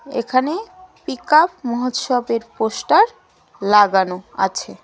এখানে পিকআপ মহোৎসবের পোস্টার লাগানো আছে.